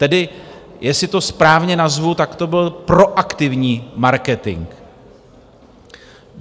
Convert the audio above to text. Tedy jestli to správně nazvu, tak to byl proaktivní marketing.